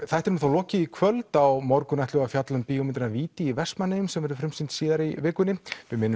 þættinum er þá lokið í kvöld á morgun ætlum við að fjalla um bíómyndina víti í Vestmannaeyjum sem verður frumsýnd síðar í vikunni við minnum